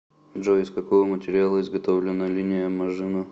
джой из какого материала изготовлено линия мажино